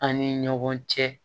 An ni ɲɔgɔn cɛ